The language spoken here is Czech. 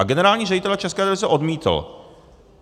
A generální ředitel České televize odmítl.